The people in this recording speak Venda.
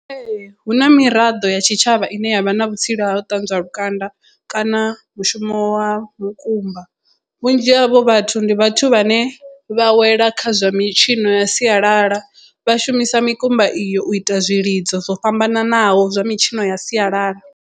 Ee hu na miraḓo ya tshitshavha ine yavha na vhutsila ha u ṱanzwa lukanda kana mushumo wa mukumba vhunzhi havho vhathu ndi vhathu vhane vha wela kha zwa mitshino ya sialala vha shumisa mikumba iyo u ita zwilidzo zwo fhambananaho zwa mitshino ya sialala.